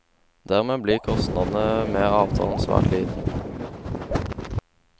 Dermed blir kostnadene med avtalen svært liten.